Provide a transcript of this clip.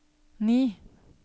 ni